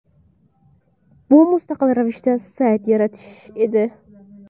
Bu – mustaqil ravishda sayt yaratish edi.